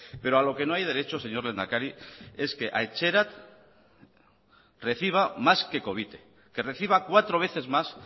pero a lo que no hay derecho señor lehendakari es que etxerat reciba más que covite que reciba cuatro veces más